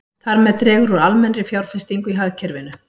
Þar með dregur úr almennri fjárfestingu í hagkerfinu.